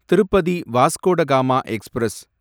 Tirupati Vasco da Gama express